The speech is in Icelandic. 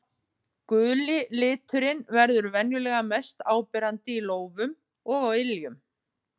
Guli liturinn verður venjulega mest áberandi í lófum og á iljum.